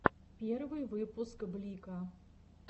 первый выпуск блико